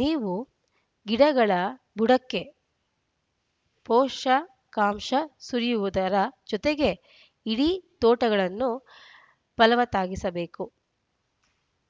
ನೀವೂ ಗಿಡಗಳ ಬುಡಕ್ಕೆ ಪೋಷಕಾಂಶ ಸುರಿಯುವುದರ ಜೊತೆಗೆ ಇಡೀ ತೋಟಗಳನ್ನು ಫಲವತ್ತಾಗಿಡಲೇಬೇಕು